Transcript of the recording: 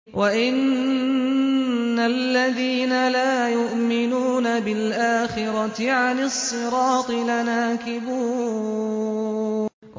وَإِنَّ الَّذِينَ لَا يُؤْمِنُونَ بِالْآخِرَةِ عَنِ الصِّرَاطِ لَنَاكِبُونَ